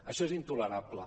això és intolerable